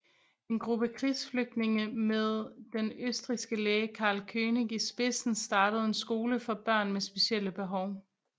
En gruppe krigsflygtninge med den østrigske læge Karl König i spidsen startede en skole for børn med specielle behov